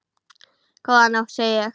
Góða nótt, segi ég.